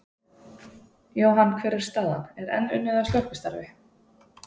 Jóhann, hver er staðan, er enn unnið að slökkvistarfi?